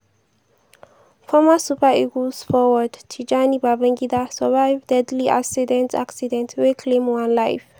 former super eagles forward tijani babangida survive deadly accident accident wey claim one life.